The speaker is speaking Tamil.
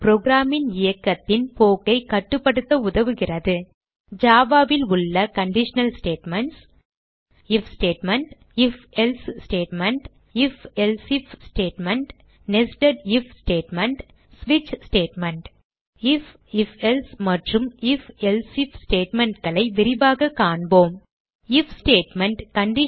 program ன் இயக்கத்தின் போக்கைக் கட்டுப்படுத்த உதவுகிறது Java ல் உள்ள கண்டிஷனல் statements ஐஎஃப் statement160 ifஎல்சே statement160 ifஎல்சே if statement160 nested if statement ஸ்விட்ச் ஸ்டேட்மெண்ட் ஐஎஃப் ifஎல்சே மற்றும் ifஎல்சே ஐஎஃப் statementகளை விரிவாக காண்போம் ஐஎஃப் ஸ்டேட்மெண்ட்